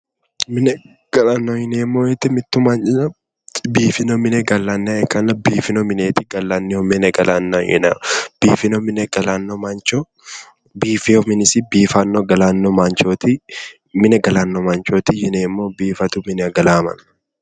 Mine galanno yineemmo woyite mittu mannira biifino mine gallanniha ikkanna biifino mineeti gallanniho mine galanna yinayi biifino mine galanno mancho biifewo minisi biifanno galanno mini manchooti mine galanno manchooti yineemmo biifadu minira galawo ma